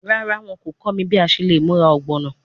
Rara, wọn ko kọ mi bi a ṣe le mura ogbono